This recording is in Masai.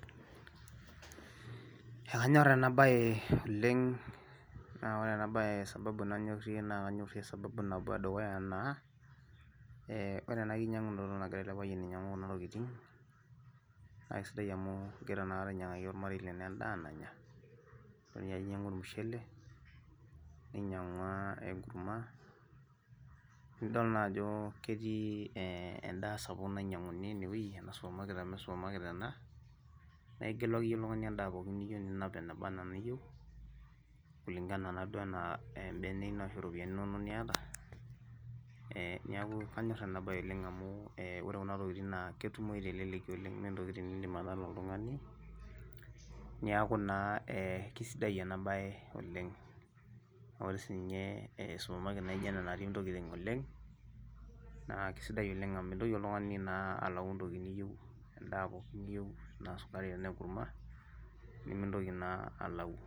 Ekanyorr ena bae oleng' naa ore ena bae sababu nanyorie, naa kanyorie sababu edukuya naa ee ore ena kinyiang'unoto nagira ele payian ainyiang'u kuna tokitin, naa isidai amu kegira naa ainyiang'aki olmarei lenye edaa nanya, idol ninye ajo inyiang'ua ormushele, ninyiang'ua enkurma. nidol naa ajo ketii edaa sapuk ainyiang'uni ine wueji, ina supermarket amu supermarket ena naa igelu akeyie oltungani edaa pookin nabaanaeniyieu, kulingana, naduo anaa ebene ino anaa ropiyiani niyata, neeku kanyor ena bae oleng' amu ore kuna tokitin naa ketumoyu telelki oleng ime ntokitin nidim atala oltungani. niaku naa kisidai ena bae oleng. ore sii ninye ele supermarket naijo ena natii ntokitin oleng' naa kisidai oleng amu mintoki oltung'ani naa alau entokiti ninyieu, edaa pookin niyieu, tenaa sukari tenaa enkurma nimintoki naa alau.